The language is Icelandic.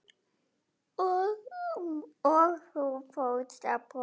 Og þú fórst að brosa.